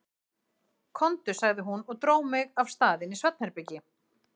Komdu, sagði hún og dró mig af stað inn í svefnherbergi.